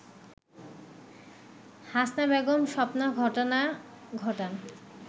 হাসনা বেগম স্বপ্না ঘটনা ঘটান